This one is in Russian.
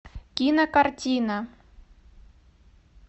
кинокартина